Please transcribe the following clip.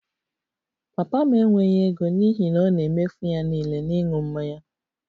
Papa m enweghị ego n'ihi na ọ na-emefu ya niile na ịṅụ mmanya